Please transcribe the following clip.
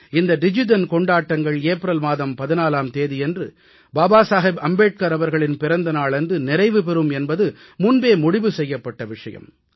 இந்த டிஜிதன் கொண்டாட்டங்கள் ஏப்ரல் மாதம் 14ஆம் தேதியன்று பாபா சாஹேப் அம்பேட்கர் அவர்களின் பிறந்த நாளன்று நிறைவு பெறும் என்பது முன்பே முடிவு செய்யப்பட்ட விஷயம்